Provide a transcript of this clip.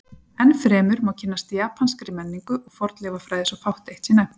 enn fremur má kynnast japanskri menningu og fornleifafræði svo fátt eitt sé nefnt